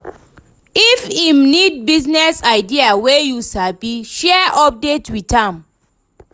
if em nid business idea wey yu sabi, share update wit am